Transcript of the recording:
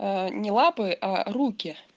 не лапы а руки